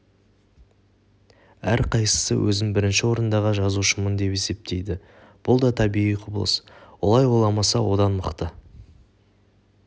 әр қайсысы өзін бірінші орындағы жазушымын деп есептейді бұл да табиғи құбылыс олай ойламаса одан мықты